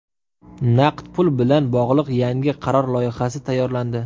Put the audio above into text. Naqd pul bilan bog‘liq yangi qaror loyihasi tayyorlandi.